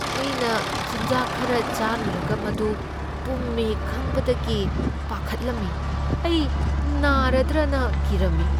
ꯑꯩꯅ ꯆꯤꯟꯖꯥꯛ ꯈꯔ ꯆꯥꯔꯨꯔꯒ ꯃꯗꯨ ꯄꯨꯝꯃꯦ ꯈꯪꯕꯗꯒꯤ ꯄꯥꯈꯠꯂꯝꯃꯤ꯫ ꯑꯩ ꯅꯥꯔꯗ꯭ꯔꯥꯅ ꯀꯤꯔꯝꯃꯤ ꯫